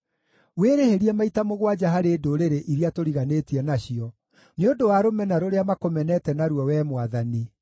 Wĩrĩhĩrie maita mũgwanja harĩ ndũrĩrĩ iria tũriganĩtie nacio, nĩ ũndũ wa rũmena rũrĩa makũmenete naruo, Wee Mwathani.